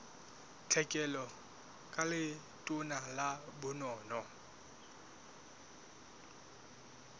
tlhekelo ka letona la bonono